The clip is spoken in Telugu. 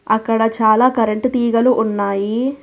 అక్కడ చాలా కరెంటు తీగలు ఉన్నాయి.